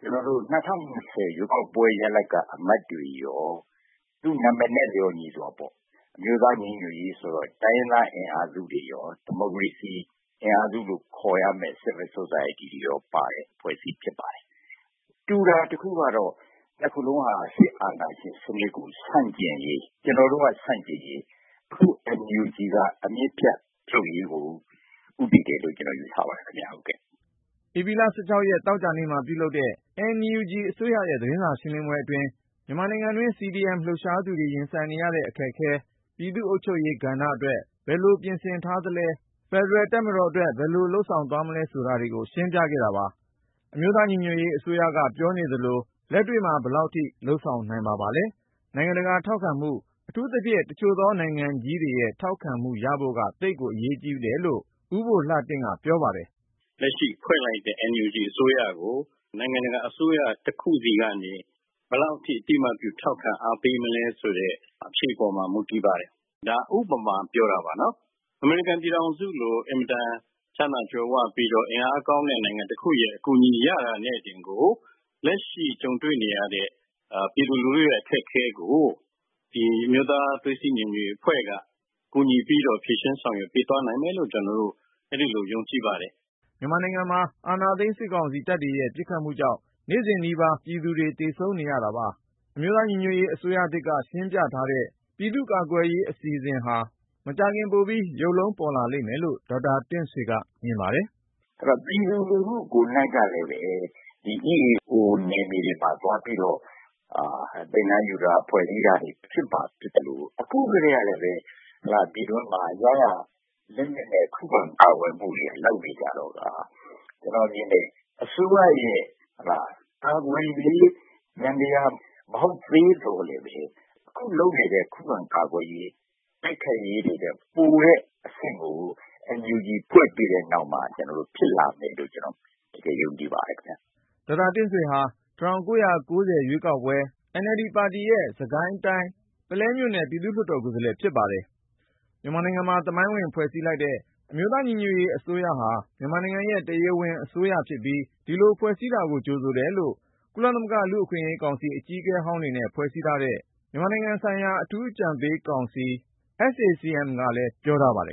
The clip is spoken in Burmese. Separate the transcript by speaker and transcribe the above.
Speaker 1: ကတော့ ၂၀၂၀ ရွေးကောက်ပွဲရလဒ်က အမတ်တွေရော ၊ အမျိုးသားညီညွတ်ရေးဆိုတဲ့ သူတို့ပေးထားတဲ့ နာမည်နဲ့ လျှော်ညီစွာပဲ တိုင်းရင်းသားအင်အားစုတွေရော ၊ ဒီမိုကရေစီ အင်အားစုလို့ ခေါ်ရမယ့် Civil Society လူထုအခြေပြု လူမှုအဖွဲ့အစည်းတွေရော ပါတဲ့ အဖွဲ့အစည်း ဖြစ်လာပါတယ်။ ဒီနေရာမှာ တူတာ တခုကတော့ အစိုးရ နှစ်ဖွဲ့စလုံးဟာ စစ်အာဏာရှင်စနစ်ကို ဆန့်ကျင်ရေး အခြေခံရှိသလို၊ အခု NUG ကျတော့ စစ်အာဏာရှင် အမြစ်ဖြတ်ရေးကိုပါ ဦးတည်နေတယ်လို့ ကျနော်ယူဆပါတယ်။” ဧ
Speaker 2: ပြီလ ရက် သောကြာနေ့မှာ ပြုလုပ်တဲ့ NUG အစိုးရရဲ့ သတင်းစာရှင်းလင်းပွဲအတွင်း မြန်မာနိုင်ငံတွင်း CDM လှုပ်ရှားသူတွေ ရင်ဆိုင်နေရတဲ့ အခက်အခဲတွေ ၊ ပြည်သူ့အုပ်ချုပ်ရေးကဏ္ဍအတွက် ဘယ်လို ပြင်ဆင်ထားသလဲ၊ ဖယ်ဒရယ်တပ်မတော်အတွက် ဘယ်လို လုပ်ဆောင်သွားမလဲ ဆိုတာကို ရှင်းပြခဲ့တာပါ။ NUG အစိုးရက ပြောနေသလို လက်တွေ့မှာ ဘယ်လောက်ထိ လုပ်ဆောင်နိုင်မှာပါလဲ။နိုင်ငံတကာ ထောက်ခံမှု အထူးသဖြင့် တချို့သော နိုင်ငံကြီးတွေရဲ့ ထောက်ခံမှုရဖို့က သိပ်ကို အရေးကြီးတယ်လို့ ဦးဘိုလှတင့်က ပြောပါတယ်။
Speaker 3: “ လက်ရှိ ဖွဲ့လိုက်တဲ့ NUG အစိုးရကို နိုင်ငံတကာအစိုးရ တခုစီကနေ ဘယ်လောက်ထိ အသိအမှတ်ပြု ထောက်ခံအားပေးမလဲ ဆိုတဲ့ အဖြေပေါ် မူတည်ပါတယ်။ ဥပမာ တခုအနေနဲ့ ပြောရရင် အမေရိကန်ပြည်ထောင်စုလို ချမ်းသာကြွယ်ဝပြီး အင်အားကောင်းတဲ့ နိုင်ငံတခုရဲ့ အကူအညီ ရတာနဲ့တင်ကို.. လက်ရှိ ကြုံတွေ့နေရတဲ့ ပြည်သူလူထုရဲ့ အခက်အခဲကို ဒီ အမျိုးသားသွေးစည်းညီညွတ်ရေး အစိုးရအဖွဲ့က ကူညီဖြေရှင်း ဆောင်ရွက်ပေးသွားနိုင်မယ်လို့ ကျနော်တို့ အဲဒီလိုကို ယုံကြည်ပါတယ်
Speaker 2: ။ ” မြန်မာနိုင်ငံမှာ အာဏာသိမ်းစစ်ကောင်စီ တပ်တွေရဲ့ ပစ်ခတ်မှုကြောင့် နေ့စဉ်နီးပါ ပြည်သူတွေ သေဆုံးနေရတာပါ။ NUG အစိုးရသစ်က ရှင်းပြထားတဲ့ ပြည်သူ့ကာကွယ်ရေးအစီအစဉ်ဟာ မကြာခင် ပိုပြီးရုပ်လုံးပေါ်လာလိမ့်မယ်လို့ ဒေါက်တာ တင့်ဆွေက မြင်ပါတယ်
Speaker 1: ။ “ ပြည်သူလူထု ကိုယ်နှိုက်ကလည်းပဲ ဒီတိုင်းရင်းသားလက်နက်ကိုင် EAO နယ်မြေမှာ သွားပြီးတော့ သင်တန်းယူတာ ၊ ဖွဲ့စည်းတာတွေ လုပ်လာနေတာ ဖြစ်သလို၊ အခုကတည်းကပဲ ပြည်တွင်းမှာ ရရာ လက်နက်နဲ့ ခုခံကာကွယ်မှုတွေက လုပ်နေကြတယ်။ ဆိုတော့ကာ ကျနော်မြင်တယ်.. အခုက အစိုးရသစ်ရဲ့ ကာကွယ်ရေး ယန္တရား မဟုတ်သေးသော်လည်းပဲ အခုလုပ်နေတဲ့ ခုခံကာကွယ်ရေး အစီအစဉ် တိုက်ခိုက်ရေးတွေထက် ပိုတဲ့ အဆင့်တခုကို NUG ဖွဲ့ပြီးတဲ့နောက်မှာ ဖြစ်လာမယ်လို့ ကျနော်ယုံကြည်ပါတယ်ခင်ဗျ။
Speaker 2: ” ဒေါက်တာတင့်ဆွေဟာ ၁၉၉၀ ရွေးကောက်ပွဲမှာ စစ်ကိုင်းတိုင်း ပုလဲမဲဆန္ဒနယ်မြေ အမှတ် ကနေ အနိုင်ရခဲ့တဲ့ NLD ပါတီ ကိုယ်စားလှယ် ဖြစ်ပါတယ်။ အခုလို သမိုင်းဝင်ဖွဲ့စည်းလိုက်တဲ့ အမျိုးသားညီညွတ်ရေးအစိုးရ ဟာ မြန်မာနိုင်ငံရဲ့ တရားဝင်အစိုးရဖြစ်ပြီး ဒီလိုဖွဲ့စည်းတာကို ကြိုဆိုတယ်လို့ ကုလသမဂ္ဂ လူ့အခွင့်ရေးကောင်စီ အကြီးအကဲဟောင်းတွေနဲ့ ဖွဲ့စည်းထားတဲ့ မြန်မာနိုင်ငံဆိုင်ရာ အထူးအကြံပေးကောင်စီ က ပြောထားပါတယ်